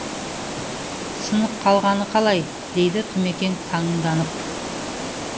сынып қалғаны қалай дейді тұмекең таңданып